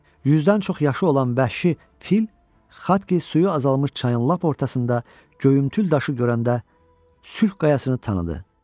Yüzdən çox yaşı olan bəhşi fil Xatki suyu azalmış çayın lap ortasında göyümtül daşı görəndə sülh qayasını tanıdı.